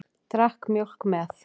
Drakk mjólk með.